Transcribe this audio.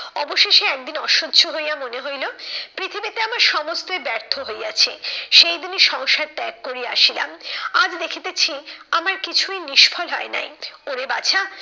অবশেষে একদিন অসহ্য হইয়া মনে হইলো পৃথিবীতে আমার সমস্তই ব্যর্থ হইয়াছে। সেই দিনই সংসার ত্যাগ করিয়া আসিলাম। আজ দেখিতেছি আমার কিছুই নিষ্ফল হয় নাই। ওরে বাছা